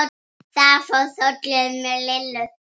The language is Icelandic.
Það fór hrollur um Lillu.